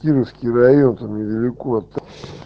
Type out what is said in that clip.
кировский район там недалеко от